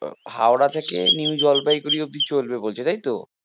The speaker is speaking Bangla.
হাওড়া থেকে নিউ জলপাইগুঁড়ি অব্দি চলছে বলছে তাইতো?